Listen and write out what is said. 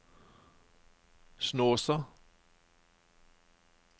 Snåsa